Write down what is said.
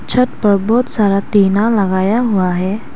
छत पर बहोत सारा टीना लगाया हुआ है।